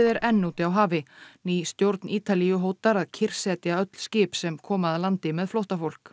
er enn úti á hafi ný stjórn Ítalíu hótar að kyrrsetja öll skip sem koma að landi með flóttafólk